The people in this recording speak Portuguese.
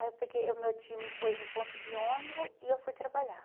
Aí eu peguei, o meu tio me pôs no ponto de ônibus e eu fui trabalhar.